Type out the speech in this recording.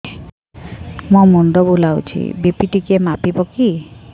ମୋ ମୁଣ୍ଡ ବୁଲାଉଛି ବି.ପି ଟିକିଏ ମାପିବ କି